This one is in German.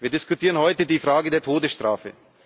Wir diskutieren heute über die Frage der Todesstrafe.